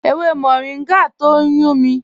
Ẹ̀wẹ̀ mọ̀ríngà tó n yùn mí